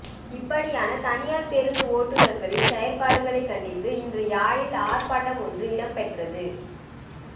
இப்படியான தனியார் பேருந்து ஓட்டுனர்களின் செயற்பாடுகளை கண்டித்து இன்று யாழில் ஆர்ப்பாட்டம் ஒன்று இடம்பெற்றது